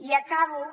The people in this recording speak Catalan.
i acabo